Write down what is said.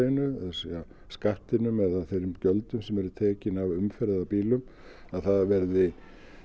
segja skattinum eða þeim gjöldum sem eru tekin af umferð eða bílum að það verði